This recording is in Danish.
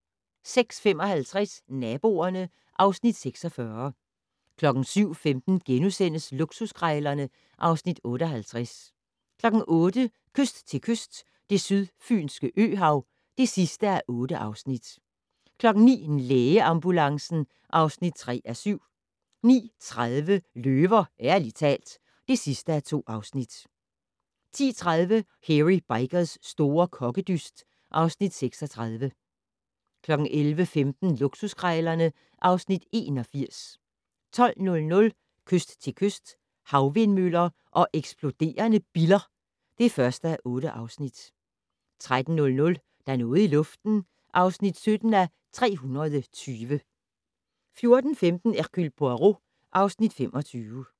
06:55: Naboerne (Afs. 46) 07:15: Luksuskrejlerne (Afs. 58)* 08:00: Kyst til kyst - Det sydfynske øhav (8:8) 09:00: Lægeambulancen (3:7) 09:30: Løver - ærligt talt (2:2) 10:30: Hairy Bikers' store kokkedyst (Afs. 36) 11:15: Luksuskrejlerne (Afs. 81) 12:00: Kyst til kyst - Havvindmøller og eksploderende biller (1:8) 13:00: Der er noget i luften (17:320) 14:15: Hercule Poirot (Afs. 25)